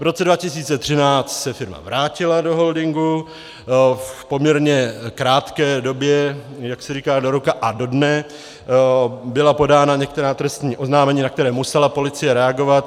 V roce 2013 se firma vrátila do holdingu, v poměrně krátké době, jak se říká do roka a do dne, byla podána některá trestní oznámení, na která musela policie reagovat.